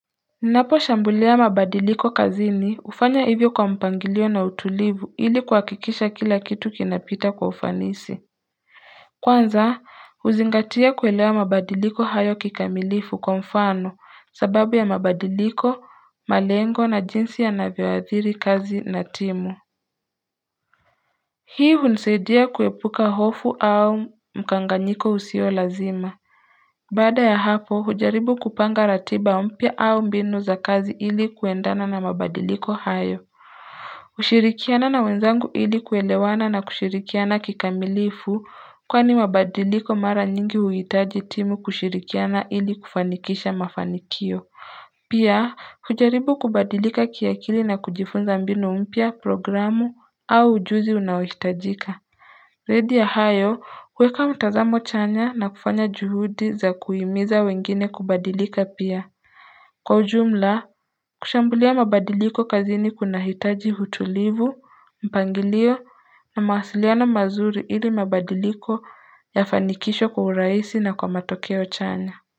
Ninaposhambulia mabadiliko kazini hufanya hivyo kwa mpangilio na utulivu ili kwa hakikisha kila kitu kinapita kwa ufanisi Kwanza kuzingatia kuelewa mabadiliko hayo kikamilifu kwa mfano sababu ya mabadiliko malengo na jinsi yanavyoadhiri kazi na timu Hii hunsaidia kuepuka hofu au mkanganyiko usio lazima Baada ya hapo hujaribu kupanga ratiba mpya au mbinu za kazi ili kuendana na mabadiliko hayo hushirikiana na wenzangu ili kuelewana na kushirikiana kikamilifu kwani mabadiliko mara nyingi huhitaji timu kushirikiana ili kufanikisha mafanikio Pia hujaribu kubadilika kiakili na kujifunza mbinu mpya programu au ujuzi unaohitajika Zaidi ya hayo kuweka mtazamo chanya na kufanya juhudi za kuhimiza wengine kubadilika pia Kwa ujumla kushambulia mabadiliko kazini kuna hitaji utulivu, mpangilio na mawasiliano mazuri ili mabadiliko yafanikishwo kwa urahisi na kwa matokeo chanya.